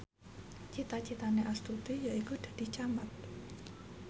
cita citane Astuti yaiku dadi camat